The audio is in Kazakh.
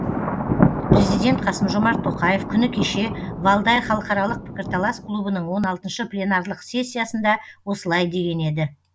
президент қасым жомарт тоқаев күні кеше валдай халықаралық пікірталас клубының он алтыншы пленарлық сессиясында осылай деген еді